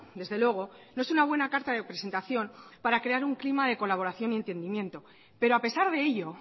desde luego no es una buena carta de presentación para crear un clima de colaboración y entendimiento pero a pesar de ello